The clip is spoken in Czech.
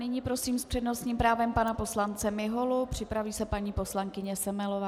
Nyní prosím s přednostním právem pana poslance Miholu, připraví se paní poslankyně Semelová.